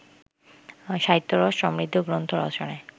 সাহিত্যরস সমৃদ্ধ গ্রন্থ রচনায়